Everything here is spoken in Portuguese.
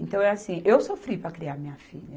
Então é assim, eu sofri para criar minha filha.